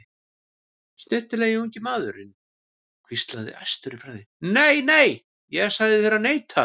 Snyrtilegi ungi maðurinn hvíslar æstur í bragði: Nei, nei, ég sagði þér að neita